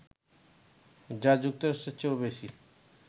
যা যুক্তরাষ্ট্রের চেয়েও বেশি